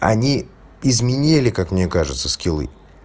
они изменили как мне кажется скилы